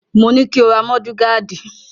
Mo ní ko ra mọ́dù gaádì!